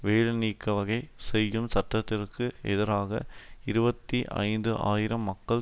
வேலைநீக்க வகை செய்யும் சட்டத்திற்கு எதிராக இருபத்தி ஐந்து ஆயிரம் மக்கள்